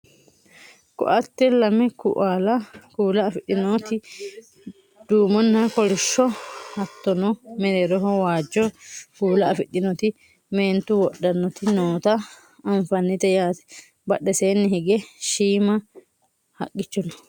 ko"atte lame kuual afidhinoti duumonna kolishsho hattono mereeroho waajjo kuula afidhinoti meentu wodhannoti noota anafannite yaate badheseenni higge shiima haqqicho no